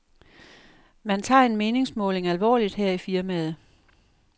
Man tager en meningsmåling alvorligt her i firmaet.